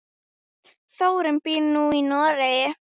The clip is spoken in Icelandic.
Þórunn býr nú í Noregi.